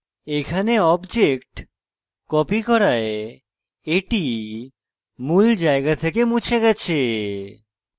এখানে object copy করায় এটি মূল জায়গা থেকে মুছে গেছে